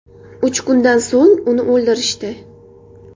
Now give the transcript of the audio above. Uch kundan so‘ng uni o‘ldirishdi.